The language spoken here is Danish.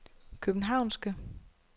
københavnske